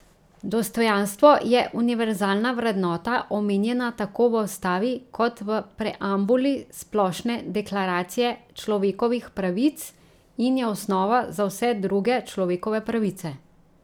Dostojanstvo je univerzalna vrednota, omenjena tako v ustavi kot v preambuli Splošne deklaracije človekovih pravic, in je osnova za vse druge človekove pravice.